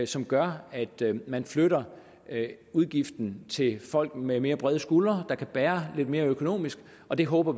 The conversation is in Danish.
som gør at man flytter udgiften til folk med mere brede skuldre der kan bære lidt mere økonomisk og vi håber